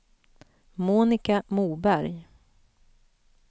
Monica Moberg